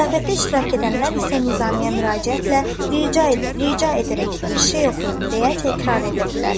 Ziyafətdə iştirak edənlər isə Nizmiyə müraciətlə rica rica edərək bir şey oxuyun deyə təkrar edirdilər.